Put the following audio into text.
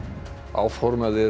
áformað er